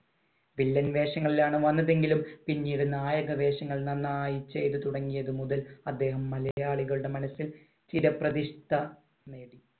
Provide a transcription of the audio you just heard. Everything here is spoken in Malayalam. വില്ലൻ വേഷങ്ങളിലാണ് വന്നതെങ്കിലും പിന്നീട് നായക വേഷങ്ങൾ നന്നായി ചെയ്തു തുടങ്ങിയതു മുതൽ അദ്ദേഹം മലയാളികളുടെ മനസ്സിൽ ചിരപ്രതിഷ്ഠ നേടി.